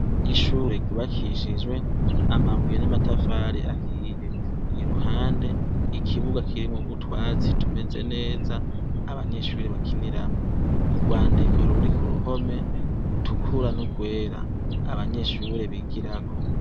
Ishure ryubakishijwe amabuye n'amatafari ahiye, iruhande ikibuga kirimwo utwatsi tumeze neza abanyeshure bakiniramwo, urwandiko ruri ku ruhome rutukura n'urwera abanyeshure bigurako.